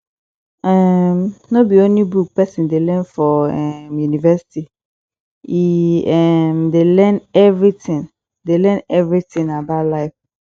um no be only book pesin dey learn for um university e um dey learn everytin dey learn everytin about life